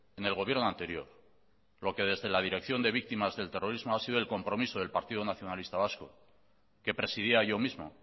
en el gobierno anterior lo que desde la dirección de víctimas del terrorismo ha sido el compromiso del partido nacionalista vasco que presidía yo mismo